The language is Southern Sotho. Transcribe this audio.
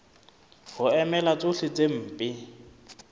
ho emela tsohle tse mpe